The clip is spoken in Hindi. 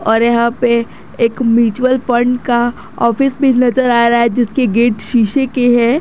और यहां पे एक म्युचुअल फंड का ऑफिस भी नजर आ रहा है जिसके गेट शीशे के है।